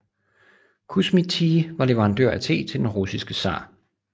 Kusmi Tea var leverandør af te til den russiske tsar